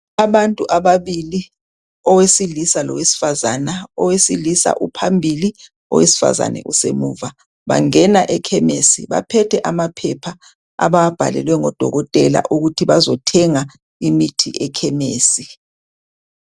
Abantu ababili, owesilisa lowesifazana, owesilisa uphambili owesifazane usemuva bangena ekhemisi baphethe amaphepha abawabhalelwe ngodokotela ukuthi bazothenga imithi ekhemisi.